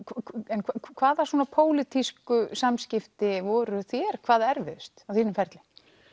en hvaða pólitísku samskipti voru þér hvað erfiðust á þínum ferli